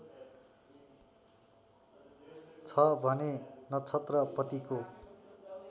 छ भने नक्षत्रपतिको